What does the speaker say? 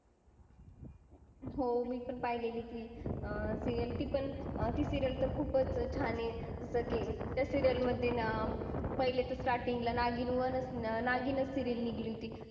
पूर्वी अभग अभयंग केले ला